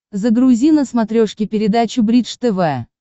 загрузи на смотрешке передачу бридж тв